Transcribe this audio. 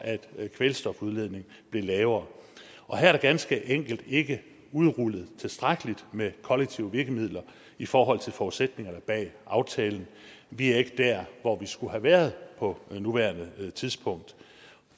at kvælstofudledningen blev lavere og her er der ganske enkelt ikke udrullet tilstrækkelig med kollektive virkemidler i forhold til forudsætningerne bag aftalen vi er ikke der hvor vi skulle have været på nuværende tidspunkt